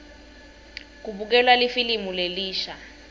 kubukelwa lifilimu lelisha